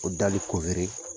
O